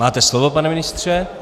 Máte slovo, pane ministře.